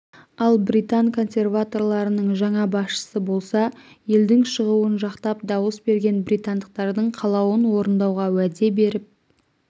ал британ консерваторларының жаңа басшысы болса елдің шығуын жақтап дауыс берген британдықтардың қалауын орындауға уәде беріп